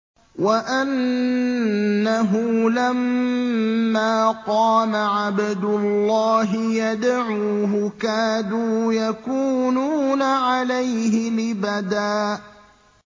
وَأَنَّهُ لَمَّا قَامَ عَبْدُ اللَّهِ يَدْعُوهُ كَادُوا يَكُونُونَ عَلَيْهِ لِبَدًا